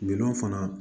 Gindo fana